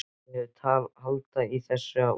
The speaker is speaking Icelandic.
Hún verður að halda í þessa von.